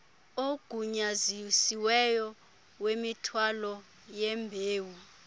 agunyazisiweyo wemithwalo yembewu